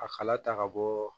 A kala ta ka bɔ